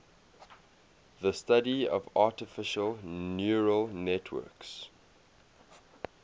the study of artificial neural networks